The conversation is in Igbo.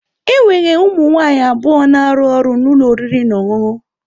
Enwere ụmụ nwanyị abụọ na-arụ ọrụ na ụlọ oriri na ọṅụṅụ.